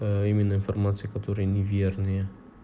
а именно информация которая неверные